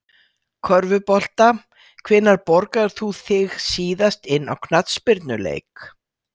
Körfubolta Hvenær borgaðir þú þig síðast inn á knattspyrnuleik?